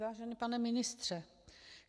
Vážený pane ministře.